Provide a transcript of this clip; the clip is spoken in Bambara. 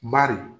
Bari